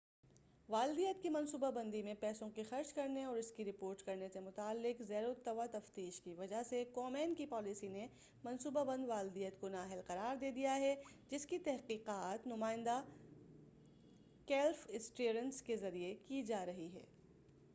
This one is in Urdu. والدیت کی منصوبہ بندی میں پیسوں کے خرچ کرنے اور اس کی رپورٹ کرنے سے متعلق زیر التواء تفتیش کی وجہ سے کومین کی پالیسی نے منصوبہ بند والدیت کو نااہل قرار دے دیا ہے جس کی تحقیقات نمائندہ کلیف اسٹیئرنس کے ذریعہ کی جارہی ہے